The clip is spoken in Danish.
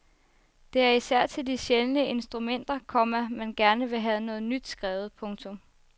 Det er især til de sjældne instrumenter, komma man gerne vil have noget nyt skrevet. punktum